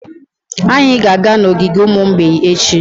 Anyị ga-aga n'ogige ụmụ mgbei echi.